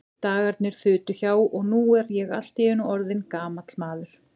Dagarnir þutu hjá, og nú er ég allt í einu orðinn gamall maður.